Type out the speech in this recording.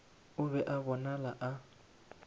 o be a bonala a